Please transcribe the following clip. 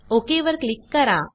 okay वर click करा